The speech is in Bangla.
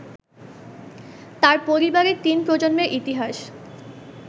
তাঁর পরিবারের তিন প্রজন্মের ইতিহাস